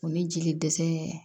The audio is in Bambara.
O ni jeli dɛsɛ ye